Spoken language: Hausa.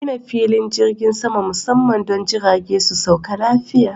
Gina filin jirgin sama musamman don jirage su sauka lafiya.